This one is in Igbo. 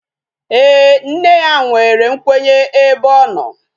Ee, nne ya nwere nkwenye ebe ọ nọ